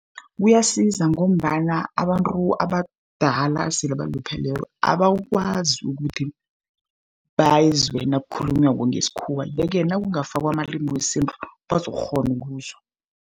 Kuyasiza ngombana abantu abadala esele balupheleko, abakwazi ukuthi bezwe nakukhulunywako ngesikhuwa. Ye-nakungafakwa amalimu wesintu bazokukghona ukuzwa.